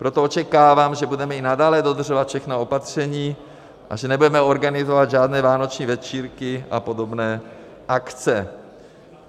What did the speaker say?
Proto očekávám, že budeme i nadále dodržovat všechna opatření a že nebudeme organizovat žádné vánoční večírky a podobné akce.